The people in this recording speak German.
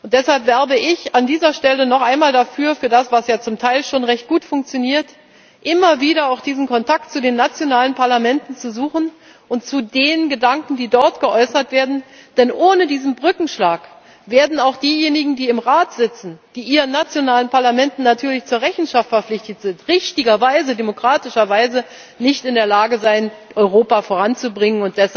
Deshalb werbe ich an dieser Stelle noch einmal dafür was ja zum Teil schon recht gut funktioniert immer wieder auch diesen Kontakt zu den nationalen Parlamenten und zu den Gedanken, die dort geäußert werden, zu suchen, denn ohne diesen Brückenschlag werden auch diejenigen, die im Rat sitzen, die ihren nationalen Parlamenten natürlich zur Rechenschaft verpflichtet sind, richtigerweise, demokratischerweise nicht in der Lage sein, Europa voranzubringen.